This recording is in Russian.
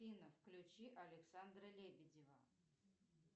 афина включи александра лебедева